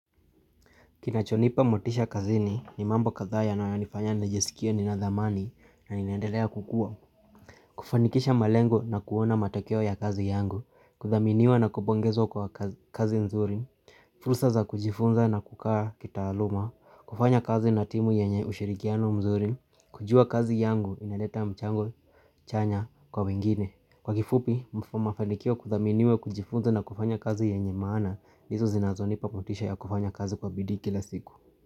Kinachonipa motisha kazini ni mambo kadhaa yanayonifanya nijesikie nina dhamani na ninadelea kukua. Kufanikisha malengo na kuona matokeo ya kazi yangu. Kuthaminiwa na kubongezwa kwa kazi nzuri. Fursa za kujifunza na kukaa kitaaluma. Kufanya kazi na timu yenye ushirikiano mzuri. Kujua kazi yangu inaleta mchango chanya kwa wengine. Kwa kifupi, mafanikio kuthaminiwa kujifunza na kufanya kazi yenye maana. Hizo zinazonipa motisha ya kufanya kazi kwa bidii kila siku.